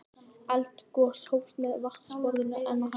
Eldgos hófst meðan vatnsborðið var enn að hækka.